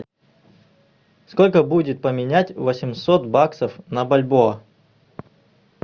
сколько будет поменять восемьсот баксов на бальбоа